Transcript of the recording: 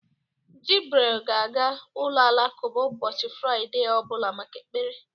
Jibril ga-aga ụlọ alakụba ụbọchị Fraịde ọ bụla maka ekpere.